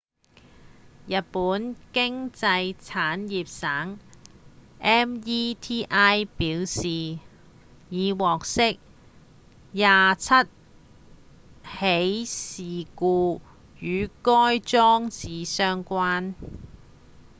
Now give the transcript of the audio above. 日本經濟產業省 meti 表示已獲悉27起事故與該裝置相關